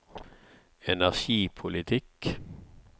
energipolitikk